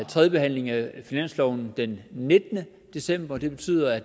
tredjebehandling af finansloven den nittende december og det betyder at